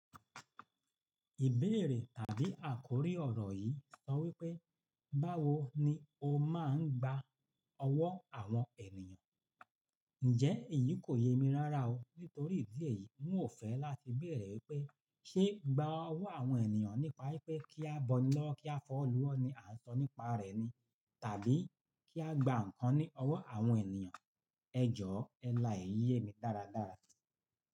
Ìbéèrè tàbí àkórí ọ̀rọ̀ yìí sọ wípé, báwo ni o máa ń gba ọwọ́ àwọn ènìyàn? Ǹjẹ́ èyí kò yemi rárá o, nítorí ìdí èyí, ń ò fẹ́ láti béèrè wípé ṣé gba ọwọ́ àwọn ènìyàn nípa wípé kí a bọ́ ni lọ́ wo, kí a fi owo lú wọ́ ni à ń sọ nípa rẹ̀ ni? Tàbí kí a gba ǹkan ní ọwọ́ àwọn ènìyàn. Ẹ jọ̀ọ́ ẹ lá eyi yé mi dáradára.